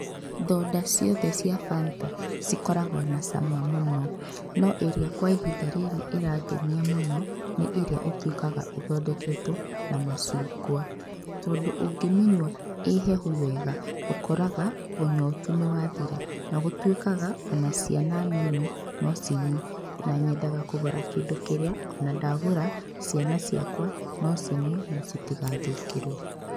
Thota ciothe cia Fanta ikorangwo na cama mũno, no ĩrĩa kwa ihinda rĩrĩ irangenia mũno ni iria gũtwikaga ithodeketwo na macungwa, tondũ ũngĩmĩnyua ĩhehu wega ũkoraga ũnyotu ni wathira, ona gũtwĩkaga, ona ciana nini no cinyue, nanyedaga kũgũra kĩndũ kĩrĩa, ona ndagũra ciana ciakwa no cinyue na citigathũkĩrwo